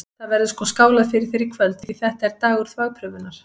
Það verður sko skálað fyrir þér í kvöld, því þetta er dagur þvagprufunnar!